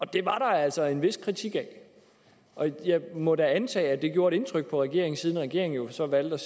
det var der altså en vis kritik af og jeg må da antage at det gjorde et indtryk på regeringen siden regeringen så valgte